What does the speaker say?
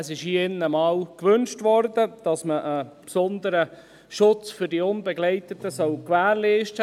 Es wurde hier in diesem Saal einmal gewünscht, dass man einen besonderen Schutz für die unbegleiteten Minderjährigen gewährleistet.